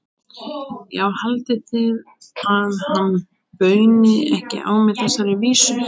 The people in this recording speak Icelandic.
Já, haldið þið að hann bauni ekki á mig þessari vísu?